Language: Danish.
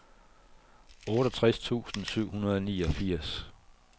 otteogtres tusind syv hundrede og niogfirs